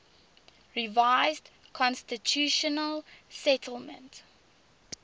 revised constitutional settlement